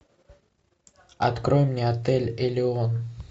открой мне отель элеон